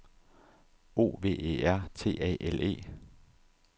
O V E R T A L E